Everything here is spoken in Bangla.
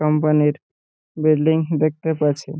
কোম্পানি -র বিল্ডিং দেখতে পাচ্ছি।